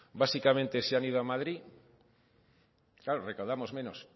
básicamente se han ido a madrid claro recaudamos menos